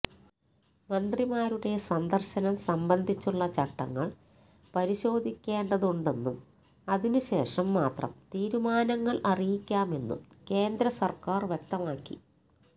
മന്ത്രിമാരുടെ സന്ദര്ശനം സംബന്ധിച്ചുള്ള ചട്ടങ്ങള് പരിശോധിക്കേണ്ടതുണ്ടെന്നും അതിനുശേഷം മാത്രം തീരുമാനങ്ങള് അറിയിക്കാമെന്നും കേന്ദ്ര സര്ക്കാര് വ്യക്തമാക്കി